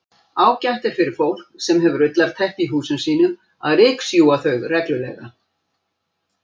Ágætt er fyrir fólk sem hefur ullarteppi í húsum sínum að ryksjúga þau reglulega.